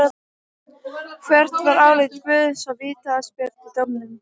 Hvert var álit Guðjóns á vítaspyrnudómnum?